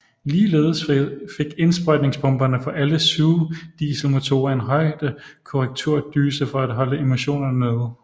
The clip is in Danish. Ligeledes fik indsprøjtningspumperne på alle sugedieselmotorer en højdekorrekturdyse for at holde emissionerne nede